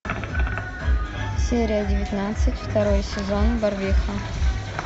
серия девятнадцать второй сезон барвиха